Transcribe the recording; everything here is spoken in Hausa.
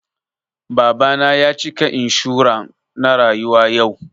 Baba na ya cika inshuran na rayuwa yau